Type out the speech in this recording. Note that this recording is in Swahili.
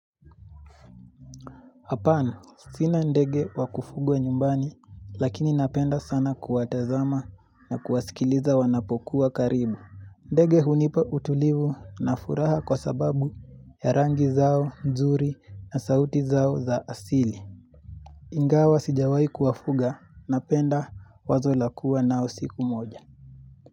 Hapana, sina ndege wakufugwa nyumbani, lakini napenda sana kuwatazama na kuwasikiliza wanapokuwa karibu. Ndege hunipa utulivu na furaha kwa sababu ya rangi zao, nzuri na sauti zao za asili. Ingawa sijawai kuwafuga, napenda wazo lakua nao siku moja.